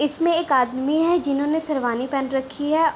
इसमें एक आदमी है जिन्होंने शेरवानी पहन रखी है।